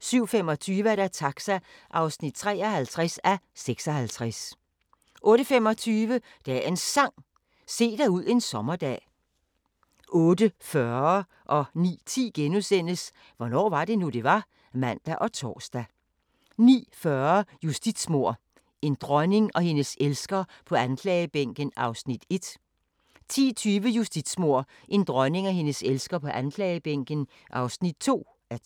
07:25: Taxa (53:56) 08:25: Dagens Sang: Se dig ud en sommerdag 08:40: Hvornår var det nu, det var? *(man og tor) 09:10: Hvornår var det nu, det var? *(man og tor) 09:40: Justitsmord – en dronning og hendes elsker på anklagebænken (1:2) 10:20: Justitsmord – en dronning og hendes elsker på anklagebænken (2:2)